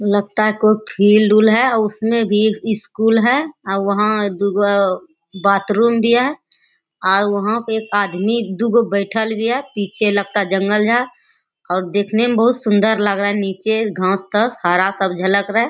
लगता है कोई फील्ड उल्ड है उसमें भी स्कूल है और वहाँ दुगो बाथरूम दिया है। आउ वहाँ पे एगो आदमी दुगो बइठल भी है पीछे लगता है जंगल है और देखने में बहुत सुन्दर लग रहा है। निचे घास तक हरा सब झलक रहा है।